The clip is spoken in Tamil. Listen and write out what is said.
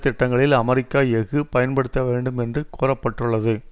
திட்டங்களில் அமெரிக்க எஃகு பயன்படுத்தப்பட வேண்டும் என்று கூற பட்டுள்ளது